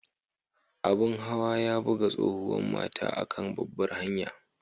Abun hawa ya buga tsohuwan matan a'kan babbar hanyan.